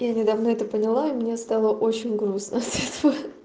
я недавно это поняла и мне стало очень грустно от этого